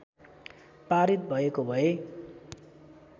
पारित भएको भए